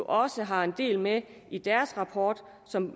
også har en del med i deres rapport som